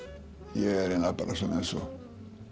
ég er bara eins og